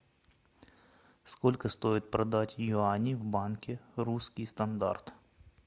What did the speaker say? сколько стоит продать юани в банке русский стандарт